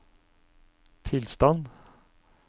tilstand